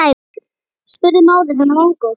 spurði móðir hennar vongóð.